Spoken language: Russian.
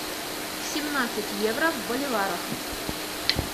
семнадцать евро в боливарах